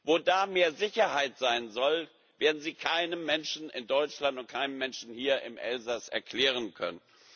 Wo da mehr Sicherheit sein soll, werden sie keinem Menschen in Deutschland und keinem Menschen hier im Elsass erklären können.